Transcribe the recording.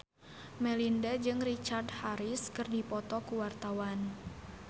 Melinda jeung Richard Harris keur dipoto ku wartawan